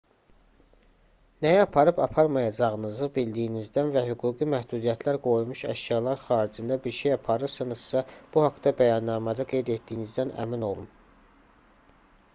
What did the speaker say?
nəyi aparıb-aparmayacağınızı bildiyinizdən və hüquqi məhdudiyyətlər qoyulmuş əşyalar xaricində bir şey aparırsınızsa bu haqda bəyannamədə qeyd etdiyinizdən əmin olun